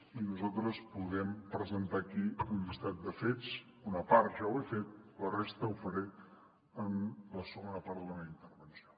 i nosaltres podem presentar aquí un llistat de fets d’una part ja ho he fet de la resta ho faré en la segona part de la meva intervenció